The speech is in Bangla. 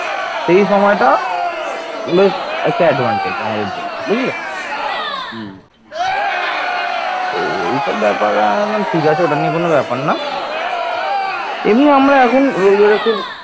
নন্দ সাম্রাজ্য ছিল বাংলার ইতিহাসে এক অবিস্মরণীয় যুগ